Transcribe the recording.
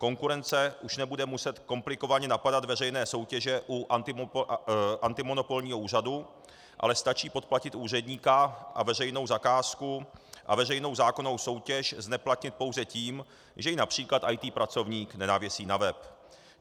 Konkurence už nebude muset komplikovaně napadat veřejné soutěže u antimonopolního úřadu, ale stačí podplatit úředníka a veřejnou zakázku a veřejnou zákonnou soutěž zneplatnit pouze tím, že ji například IT pracovník nenavěsí na web.